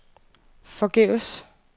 forgæves